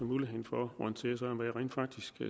muligheden for at orientere sig om hvad jeg rent faktisk